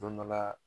Don dɔ la